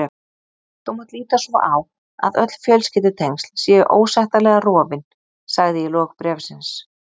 Þú mátt líta svo á að öll fjölskyldutengsl séu ósættanlega rofin, sagði í lok bréfsins.